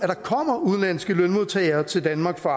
der kommer udenlandske lønmodtagere til danmark for